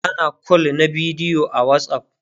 ana call na bidiyo a watsapp